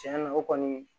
Tiɲɛ na o kɔni